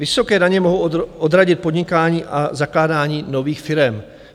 Vysoké daně mohou odradit podnikání a zakládání nových firem.